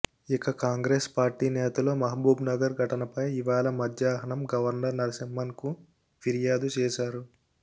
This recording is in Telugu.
ఇక కాంగ్రెస్ పార్టీ నేతలు మహబూబ్నగర్ ఘటనపై ఇవాళ మధ్యాహ్నం గవర్నర్ నరసింహన్కు ఫిర్యాదు చేశారు